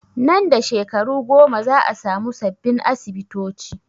Nan da shekaru goma za a samu sabbin asibitoci